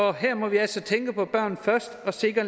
og her må vi altså tænke på børnene først og sikre